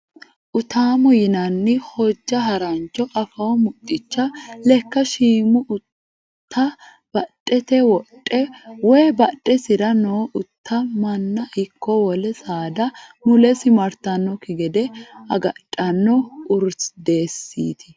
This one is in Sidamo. Utaamoho yinanni hojja harancho afoo muxxicha lekka shiima utta badhete wodhe woyi badhesira noo utta manna ikko wole saada mulesi martannokki gede agadhanno urdesiiti.